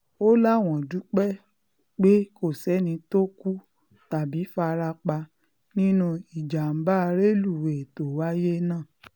ó láwọn um dúpẹ́ pé kò sẹ́ni tó um kú tàbí fara pa nínú ìjàmbá rélùwéè tó wáyé náà